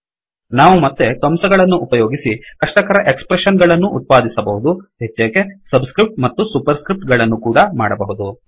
ಮತ್ತೆ ನಾವು ಕಂಸಗಳನ್ನು ಉಪಯೋಗಿಸಿ ಕಷ್ಟಕರ ಎಕ್ಸ್ ಪ್ರೆಶ್ಸನ್ ಗಳನ್ನು ಉತ್ಪಾದಿಸಬಹುದುಹೆಚ್ಚೇಕೆ ಸಬ್ ಸ್ಕ್ರಿಫ್ಟ್ ಮತ್ತು ಸುಪರ್ ಸ್ಕ್ರಿಫ್ಟ್ ಗಳನ್ನು ಕೂಡಾ ಮಾಡಬಹುದು